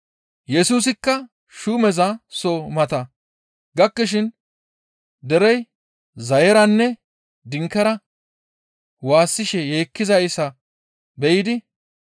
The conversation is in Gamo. Yesusikka shuumeza soo mata gakkishin derey zayeranne dinkera waassishe yeekkizayssa be7idi,